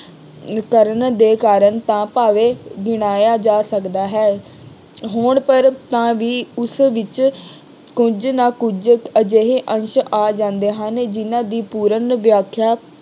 ਕਰਨ ਦੇ ਕਾਰਨ ਤਾਂ ਭਾਵੇ ਗਿਣਾਇਆ ਜਾ ਸਕਦਾ ਹੈ। ਹੋਣ ਪਰ ਤਾਂ ਵੀ ਉਸ ਵਿੱਚ ਕੁੱਝ ਨਾ ਕੁੱਝ ਅਜਿਹੇ ਅੰਸ਼ ਆ ਜਾਂਦੇ ਹਨ ਜਿੰਨ੍ਹਾ ਦੀ ਪੂਰਨ ਵਿਆਖਿਆ